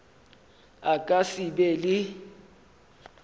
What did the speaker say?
a ka se be le